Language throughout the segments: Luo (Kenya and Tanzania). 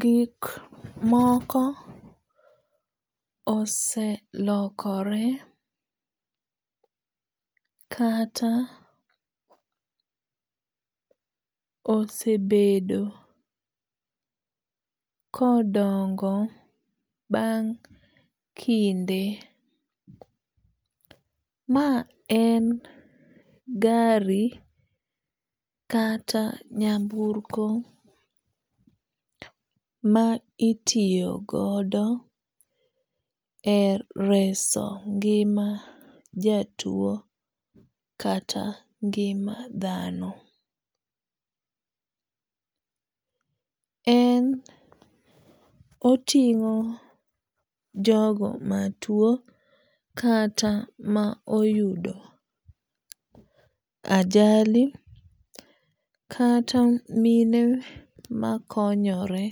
Gik moko oselokore kata osebedo kodongo bang' kinde. Ma en gari kata nyamburko ma itiyo godo e reso ngima jatuo kata ngima dhano. En oting'o jogo matuo kata ma oyudo ajali kata mine makonyore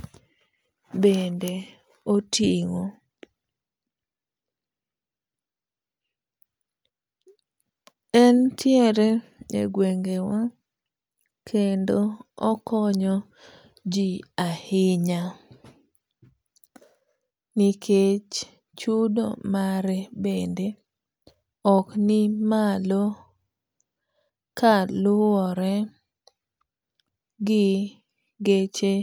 bende oting'o. Entiere e gwenge wa kendo okonyo ji ahinya nikech chudo mare bende ok ni malo kaluwore gi geche